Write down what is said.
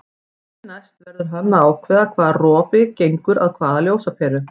Því næst verður hann að ákveða hvaða rofi gengur að hvaða ljósaperu.